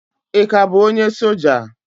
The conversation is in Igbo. Ị ka bụ onye soja?